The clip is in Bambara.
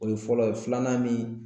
O ye fɔlɔ ye filanan min